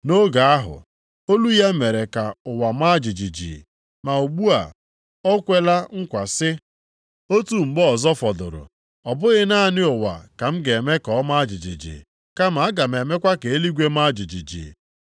Nʼoge ahụ, olu ya mere ka ụwa ma jijiji, ma ugbu a, ọ kwela nkwa, sị, “Otu mgbe ọzọ fọdụrụ, ọ bụghị naanị ụwa ka m ga-eme ka ọ maa jijiji kama aga m emekwa ka eluigwe maa jijiji.” + 12:26 \+xt Heg 2:6\+xt*